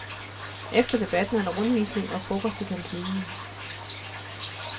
Efter debatten er der rundvisning og frokost i kantinen.